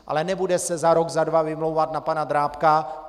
Ale nebude se za rok, za dva vymlouvat na pana Drábka.